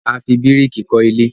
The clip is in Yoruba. a fí biriki kò ilé